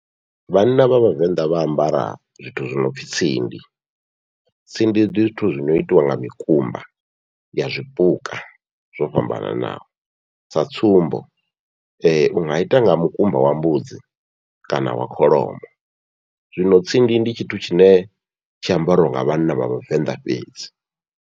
Vhanna vha vhavenḓa vha ambara zwithu zwi nopfhi tsindi, tsindi ndi zwithu zwi noitiwa nga mikumba ya zwipuka zwo fhambananaho sa tsumbo, unga ita nga mukumba wa mbudzi kana wa kholomo. Zwino tsindi ndi tshithu tshine tshi ambariwa nga vhanna vha vhavenḓa fhedzi.